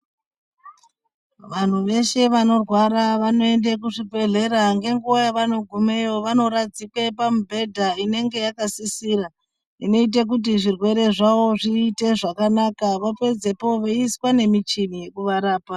Vanhu veshe vanorwara vanoende kuzvibhedhlera. Ngenguva yavanogumeyo vanoradzikwe pamibhedha inenge yakasisira, inoite kuti zvirwere zvavo zviite zvakanaka vopedzepo veiiswe nemichini yekuvarapa.